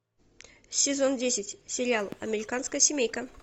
сезон десять сериал американская семейка